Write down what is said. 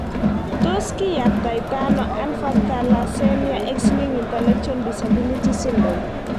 Tos kiyaptaitano alpha thalassemia x linked intellectual disability syndrome?